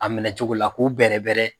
A minɛcogo la k'u bɛrɛbɛrɛ